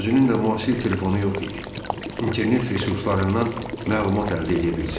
Özünün də müasir telefonu yox idi, internet resurslarından məlumat əldə eləyə bilsin.